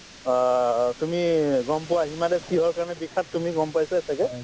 অ, তুমি গম পোৱা হিমা দাস কিহৰ কাৰণে বিখ্যাত তুমি গম পাইছাই ছাগে ‍‍